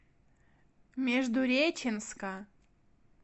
междуреченска